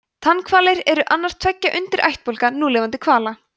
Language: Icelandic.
tannhvalir eru annar tveggja undirættbálka núlifandi hvala